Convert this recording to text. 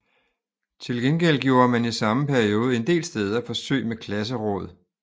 Til gengæld gjorde man i samme periode en del steder forsøg med klasseråd